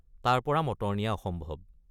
তাৰপৰা মটৰ নিয়া অসম্ভৱ।